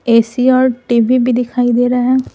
AC और TV भी दिखाई दे रहा है।